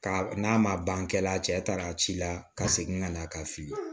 Ka n'a ma ban kɛ la a cɛ taara ci la ka segin ka na a ka fili